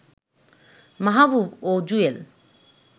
মাহবুব ও জুয়েল